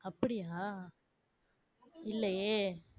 அப்படியா இல்லையே.